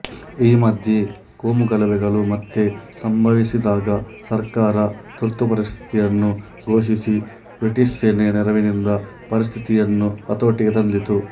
ಈ ಮಧ್ಯೆ ಕೋಮುಗಲಭೆಗಳು ಮತ್ತೆ ಸಂಭವಿಸಿದಾಗ ಸರ್ಕಾರ ತುರ್ತುಪರಿಸ್ಥಿತಿಯನ್ನು ಘೋಷಿಸಿ ಬ್ರಿಟಿಷ್ ಸೇನೆಯ ನೆರವಿನಿಂದ ಪರಿಸ್ಥಿತಿಯನ್ನು ಹತೋಟಿಗೆ ತಂದಿತು